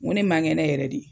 Ŋo ne ma ŋɛnɛ yɛrɛ de.